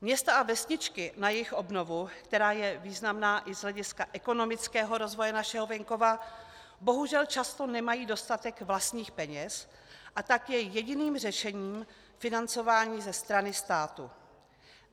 Města a vesničky na jejich obnovu, která je významná i z hlediska ekonomického rozvoje našeho venkova, bohužel často nemají dostatek vlastních peněz, a tak je jediným řešením financování ze strany státu.